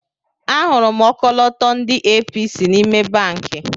Ahụrụ m ọkọlọtọ ndị APC n'ime banki.